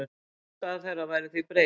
Afstaða þeirra væri því breytt.